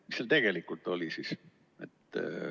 Mis seal tegelikult oli siis?